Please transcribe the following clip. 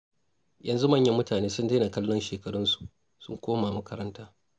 Yanzu manyan mutane sun daina kallon shekarunsu, sun koma makaranta.